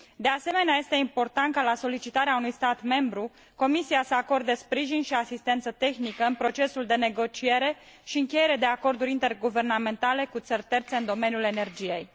De asemenea, este important ca, la solicitarea unui stat membru, Comisia să acorde sprijin și asistență tehnică în procesul de negociere și încheiere de acorduri interguvernamentale cu țări terțe în domeniul energiei.